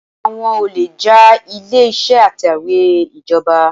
Àwọn olè já ilé-ìṣẹ́ atẹ̀wẹ́ ìjọba.